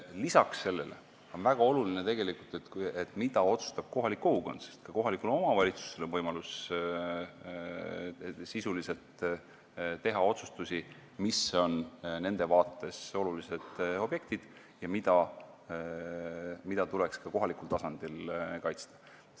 Lisaks sellele on väga oluline, mida otsustab kohalik kogukond, sest ka kohalikul omavalitsusel on võimalus teha sisuliselt otsustusi, mis on nende vaates olulised objektid ja mida tuleks ka kohalikul tasandil kaitsta.